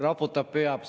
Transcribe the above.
Raputab pead.